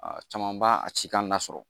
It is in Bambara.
Aa caman b'a a ci k'an lasɔrɔ